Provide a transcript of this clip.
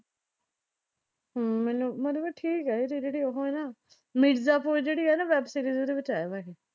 ਹਮ ਮੈਨੂੰ ਮਤਲਬ ਠੀਕ ਆ ਇਹ ਇਹਦੀ ਜਿਹੜੀ ਉਹ ਏ ਨਾ, ਮਿਰਜ਼ਾਪੁਰ ਜਿਹੜੀ ਆ ਨਾ ਵੈੱਬ ਸੀਰੀਜ਼ ਉਹਦੇ ਵਿਚ ਆਇਆ ਹੋਇਆ ਇਹ।